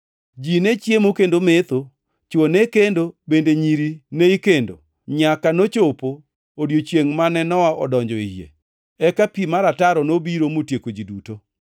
Ji ne chiemo kendo metho, chwo ne kendo bende nyiri ne ikendo nyaka nochopo odiechiengʼ mane Nowa odonjo e yie. Eka pi mar ataro nobiro motieko ji duto.